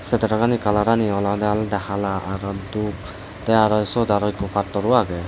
se tara gani kalarani olodey olodey hala aro dup tey aro siyot ikko pattor o agey.